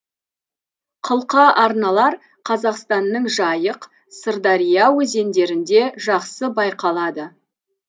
қылқа арналар қазақстанның жайық сырдария өзендерінде жақсы байқалады